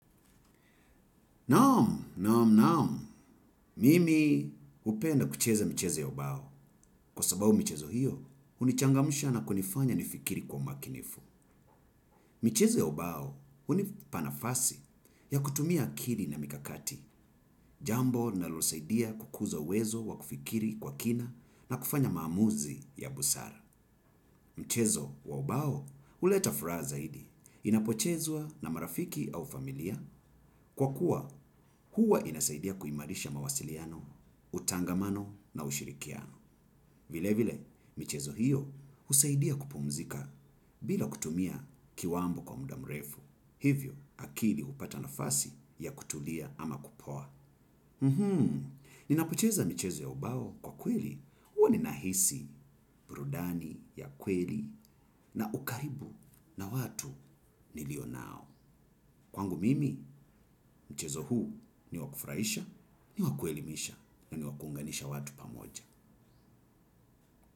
Naam, naam, naam. Mimi hupenda kucheza mchezo ya ubao. Kwa sababu michezo hio, hunichangamsha na kunifanya nifikiri kwa umakinifu. Micheze ya ubao, hunipa nafasi ya kutumia akili na mikakati, jambo linalosaidia kukuza uwezo wa kufikiri kwa kina na kufanya maamuzi ya busara. Mchezo wa ubao, huleta furaha zaidi, inapochezwa na marafiki au familia, kwa kuwa huwa inasaidia kuimarisha mawasiliano, utangamano na ushirikiano. Vile vile, michezo hio husaidia kupumzika bila kutumia kiwambo kwa muda mrefu, hivyo akili hupata nafasi ya kutulia ama kupoa. Ninapocheza michezo ya ubao kwa kweli, huwa ninahisi burudani ya kweli na ukaribu na watu nilio nao. Kwangu mimi, mchezo huu ni wa kufurahisha, ni wa kuelimisha na ni wa kuunganisha watu pamoja.